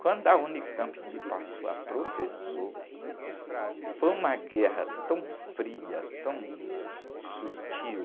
Quando a unicampi me passou a professor, foi uma guerra tão fria, tão sutil,